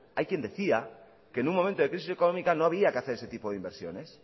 hay quien decía que en un momento de crisis económica no había que hacer ese tipo de inversiones